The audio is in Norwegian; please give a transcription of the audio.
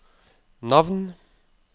navn